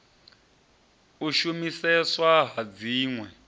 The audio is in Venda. u shumiseswa ha dzin we